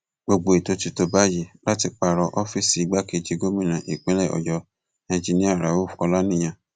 gbogbo ètò ti tó báyìí láti pààrọ ọfíìsì igbákejì gómìnà ìpínlẹ ọyọ enjinia rauf olaniyan